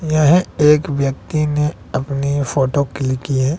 यह एक व्यक्ति ने अपनी फोटो क्लिक की है।